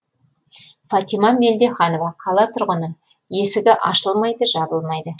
фатима мелдеханова қала тұрғыны есігі ашылмайды жабылмайды